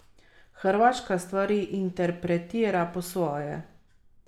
Hrvaška stvari interpretira po svoje.